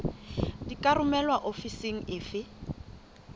di ka romelwa ofising efe